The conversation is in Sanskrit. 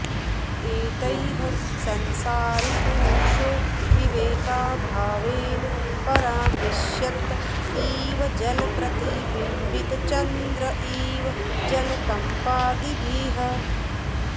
एतैः संसारी पुरुषो विवेकाभावेन परामृश्यत इव जलप्रतिबिम्बितचन्द्र इव जलकम्पादिभिः